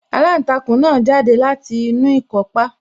Aláǹtakùn náà jáde láti inú ikọ́pá